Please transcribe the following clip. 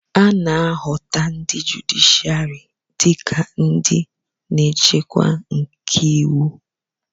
a na-ahụta ndi jụdịshịarị dị ka ndị nchekwa nke iwu